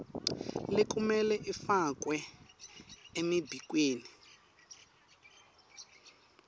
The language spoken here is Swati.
lekumele ifakwe emibikweni